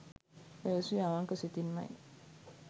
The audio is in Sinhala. පැවසුවේ අවංක සිතින්මයි.